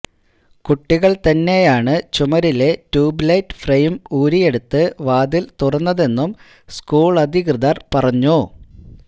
കുട്ടികള്തന്നെയാണ് ചുമരിലെ tube light frame ഊരിയെടുത്ത് വാതില് തുറന്നതെന്നും സ്കൂളധികൃതര് പറഞ്ഞു